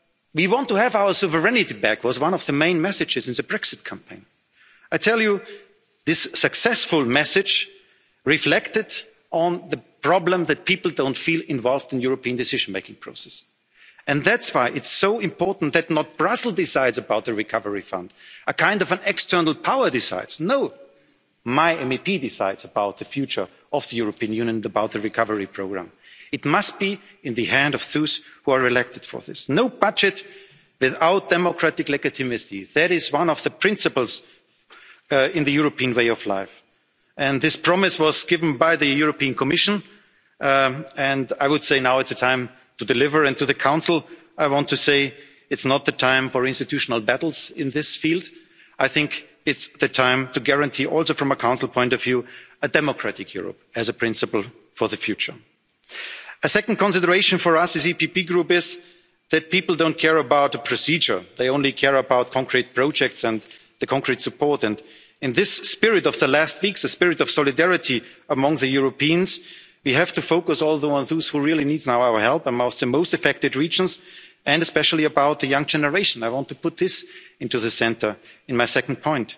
people. We want to have our sovereignty back' was one of the main messages in the Brexit campaign. I tell you that this successful message reflected on the problem that people don't feel involved in the European decision-making process. And that's why it is so important that it is not Brussels that decides about the recovery fund, a kind of external power deciding. No my MEP decides about the future of the European Union and about the recovery programme. It must be in the hands of those who are elected for this. No budget without democratic legitimacy. That is one of the principles in the European way of life. This promise was given by the European Commission and I would say that now is the time to deliver. To the Council I want to say that now is not the time for institutional battles in this field. I think it is the time to guarantee, also from a Council point of view, a democratic Europe as a principle for the future. A second consideration for us, the EPP Group, is that people don't care about procedure. They only care about concrete projects and concrete support. In this spirit of the past weeks, a spirit of solidarity among Europeans, we also have to focus on the ones who really needs our help the most, the most affected regions, and especially the young generation. I want to put this at the centre of my second point,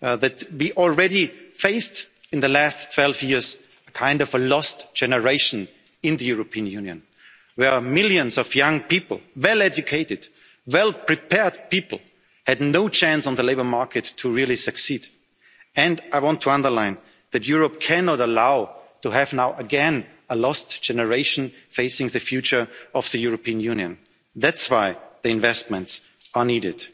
namely that we have already faced, in the last 12 years, a kind of lost generation in the European Union, where millions of young people well-educated, well prepared people had no chance to really succeed in the labour market. And I want to underline that Europe cannot again allow us to have a lost generation facing the future of the European Union. That's why the investments